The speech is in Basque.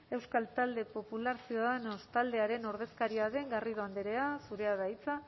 euskal talde popularra ciudadanos taldearen ordezkaria den garrido andrea zurea da hitza